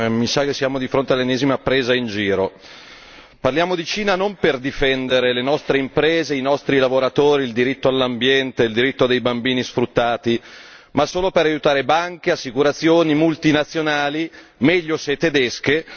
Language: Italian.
Mi sa che siamo di fronte all'ennesima presa in giro! Parliamo di Cina non per difendere le nostre imprese e i nostri lavoratori, il diritto all'ambiente, il diritto dei bambini sfruttati, ma solo per aiutare banche, assicurazioni, multinazionali meglio se tedesche!